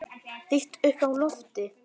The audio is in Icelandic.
Lít upp í loftið.